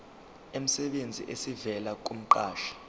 emsebenzini esivela kumqashi